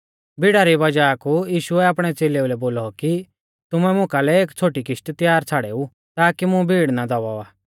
भीड़ा री वज़ाह कु यीशुऐ आपणै च़ेलेऊ लै बोलौ कि तुमै मुकालै एक छ़ोटी किशती त्यार छ़ाड़ेऊ ताकि मुं भीड़ ना दबावा